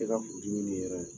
E ka furudimi nin yɛrɛ